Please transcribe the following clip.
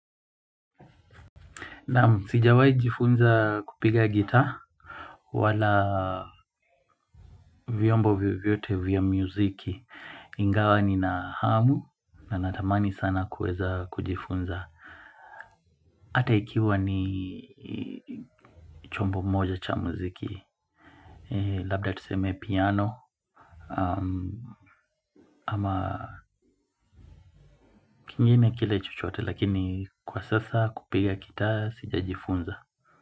Naam sijawai jifunza kupiga gitaa. Wala vyombo vyovyote vya muziki ingawa nina hamu na natamani sana kueza kujifunza ata ikiwa ni chombo moja cha muziki. Labda tuseme piano. Ama kingine kile chochote lakini kwa sasa kupiga gitaa sija jifunza.